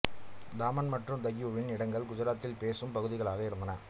தாமன் மற்றும் தையூவின் இடங்கள் குஜராத்தி பேசும் பகுதிகளாக இருந்தன